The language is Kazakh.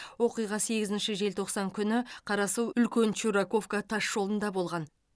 оқиға сегізінші желтоқсан күні қарасу үлкен чураковка тасжолында болған